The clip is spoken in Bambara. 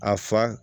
A fa